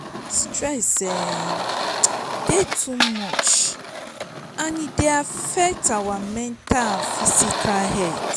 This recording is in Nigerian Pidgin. stress um dey too much and e dey affect our mental and physical health.